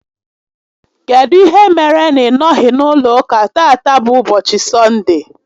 Kedụ ihe mere na ị nọghị n'ụlọ ụka tata bụ ụbọchị Sọnde?